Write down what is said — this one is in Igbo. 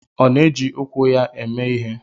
Ọ na-eji ụkwụ ya eme ihe?